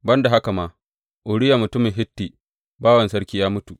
Ban da haka ma, Uriya mutumin Hitti bawan sarki ya mutu.